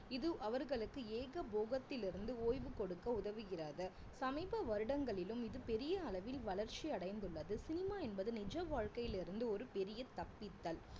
இது அவர்களுக்கு ஏகபோகத்திலிருந்து ஓய்வு கொடுக்க உதவுகிறது சமீப வருடங்களிலும் இது பெரிய அளவில் வளர்ச்சி அடைந்துள்ளது சினிமா என்பது நிஜ வாழ்க்கையில் இருந்து ஒரு பெரிய தப்பித்தல்